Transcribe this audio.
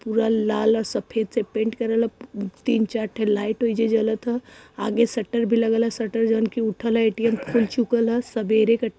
पूरा लाल और सफेद से पेंट करे ल तीन चार ठे उइ जे जलत ह आगे शटर भी लगे ल शटर जऊन की उठल ह। एटीएम खुल चुकल ह। सबेरे क --